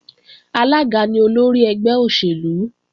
Alága ni olórí ẹgbẹ́ òṣèlú